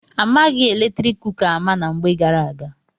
A maghị eletrik kuka ama na mgbe gara aga.